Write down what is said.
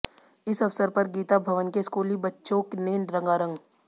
इस अवसर पर गीता भवन के स्कूली बच्चों ने रंगारंग